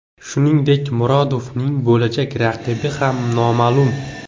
Shuningdek, Murodovning bo‘lajak raqibi ham noma’lum.